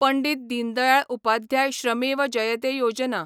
Pandit Deendayal Upadhyay Shramev Jayate Yojana